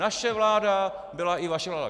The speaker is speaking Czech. Naše vláda byla i vaše vláda.